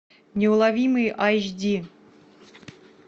неуловимые айч ди